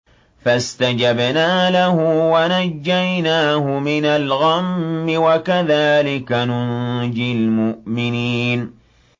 فَاسْتَجَبْنَا لَهُ وَنَجَّيْنَاهُ مِنَ الْغَمِّ ۚ وَكَذَٰلِكَ نُنجِي الْمُؤْمِنِينَ